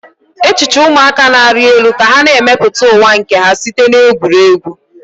Echiche ụmụaka na-arị elu ka ha na-emepụta ụwa nke ha site na egwuregwu.